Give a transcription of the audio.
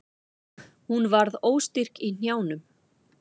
Hún varð óstyrk í hnjánum.